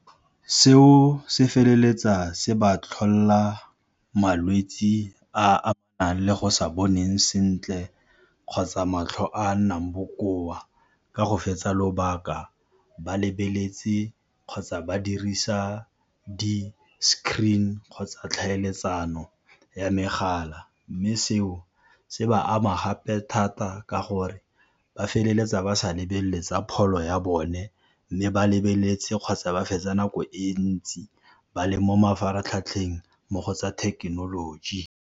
Seo se feleletsa se ba tlholela malwetse a le go sa boneng sentle kgotsa matlho a a nnang bokoa ka go fetsa lobaka ba lebeletse kgotsa ba dirisa di-screen kgotsa tlhaeletsano ya megala, mme seo se ba ama gape thata ka gore ba feleletsa ba sa lebelele tsa pholo ya bone mme ba lebeletse kgotsa ba fetsa nako e ntsi ba le mo mafaratlhatlheng mo go tsa thekenoloji.